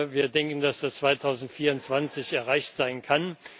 Wir denken, dass es 2024 erreicht sein kann.